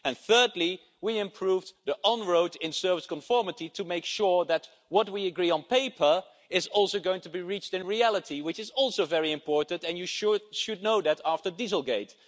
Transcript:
And thirdly, we improved the on road in service conformity to make sure that what we agree on paper is also going to be achieved in reality, which is very important, as you should know after dieselgate.